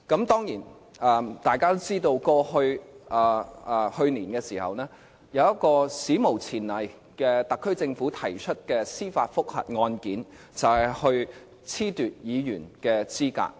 當然，大家都知道，去年有一宗史無前例，由特區政府提出的司法覆核案件，就是褫奪議員的資格。